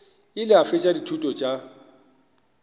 ile a fetša dithuto tša